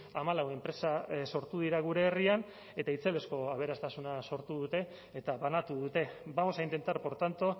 hamalau enpresa sortu dira gure herrian eta itzelezko aberastasuna sortu dute eta banatu dute vamos a intentar por tanto